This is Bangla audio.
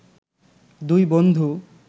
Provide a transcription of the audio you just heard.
দুই বন্ধু